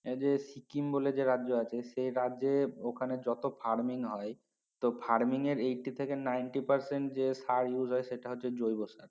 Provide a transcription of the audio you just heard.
এই যে স্কিম যে রাজ্য আছে সে রাজ্যে ওখানে যত farming হয় তো farming এর eighty থেকে ninety percent যে সার use হয় সেটা হচ্ছে জৈব সার